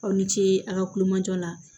Aw ni ce aw ka kulomajɔ la